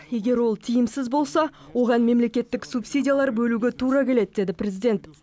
егер ол тиімсіз болса оған мемлекеттік субсидиялар бөлуге тура келеді деді президент